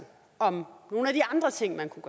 om nogle af de andre ting man kunne